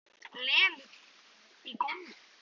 Lemur höfðinu í gólfið.